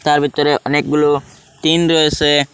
তার ভেতরে অনেকগুলো টিন রয়েছে।